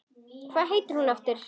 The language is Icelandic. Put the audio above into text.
Hvað heitir hún aftur?